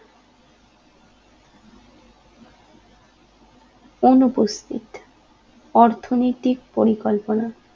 অনুপস্থিত অর্থনৈতিক পরিকল্পনা